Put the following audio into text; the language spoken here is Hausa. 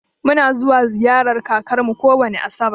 Mu na zuwa ziƴarar ƙakar mu kowani asabar.